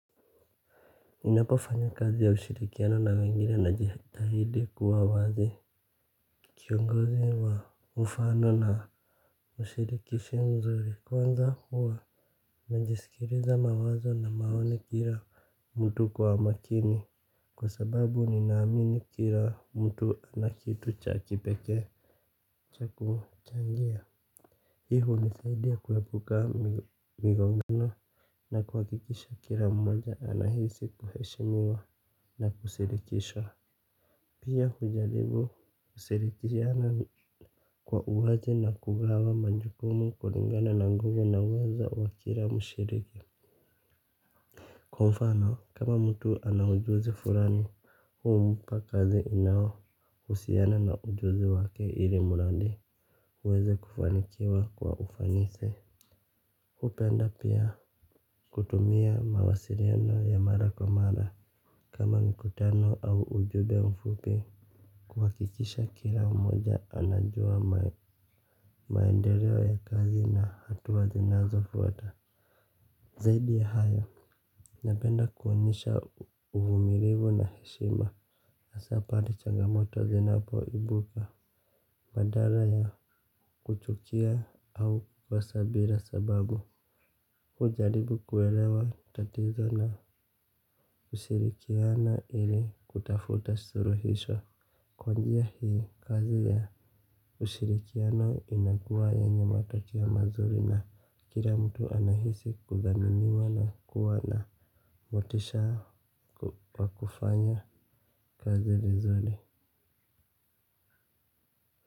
Ninapofanya kazi ya ushirikiano na wengine najitahidi kuwa wazi. Kiongozi wa mfano na ushirikishi mzuri kwanza huwa najisikiliza mawazo na maoni kila mtu kwa makini kwa sababu ninaamini kila mtu ana kitu cha kipekee cha kuchangia, hii hunisaidia kuepuka migongano na kuhakikisha kila mmoja anahisi kuheshimiwa na kushirikishwa. Pia hujaribu kushirikishana kwa uwazi na kugawa majukumu kulingana na nguvu na uwezo wa kila mshiriki. Kwa mfano kama mtu ana ujuzi fulani. Humpa kazi inaohusiana na ujuzi wake ili mradi uweze kufanikiwa kwa ufanisi. Hupenda pia kutumia mawasiliano ya mara kwa mara kama mikutano au ujumbe mfupi kuhakikisha kila mmoja anajua maendeleo ya kazi na hatua zinazofuata. Zaidi ya hayo, napenda kuonyesha uvumilivu na heshima hasaa pale changamoto zinapoibuka badala ya kuchukia au kukosa bila sababu hujaribu kuelewa tatizo na kushirikiana ili kutafuta suluhisho. Kwa njia hii, kazi ya ushirikiano inakuwa yenye matokeo mazuri na kila mtu anahisi kudhaminiwa na kuwa na motisha wa kufanya kazi vizuri.